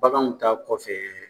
Baganw ta kɔfɛ